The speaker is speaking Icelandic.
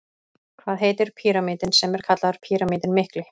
Hvað heitir píramítinn sem er kallaður Píramítinn mikli?